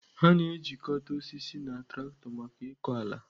A na-ejikọta osisi na traktọ maka ịkọ ala.